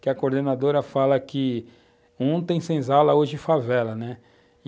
Que a coordenadora fala que ontem senzala, hoje favela, né.